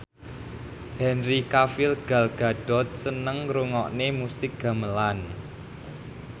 Henry Cavill Gal Gadot seneng ngrungokne musik gamelan